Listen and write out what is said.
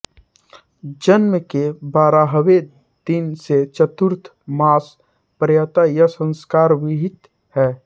जन्म के बारहवें दिन से चतुर्थ मास पर्यंत यह संस्कार विहित है